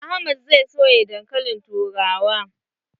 Ahmad zai soya dankalin turawa.